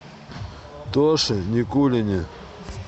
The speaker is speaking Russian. тоше никулине